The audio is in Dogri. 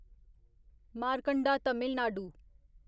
मारकंडा तमिल नाडु